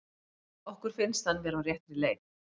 Okkur finnst hann vera á réttri leið.